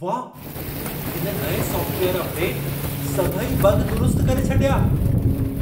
वाह, हिन नएं सॉफ़्टवेयर अपडेट सभई बग दुरुस्तु करे छॾिया!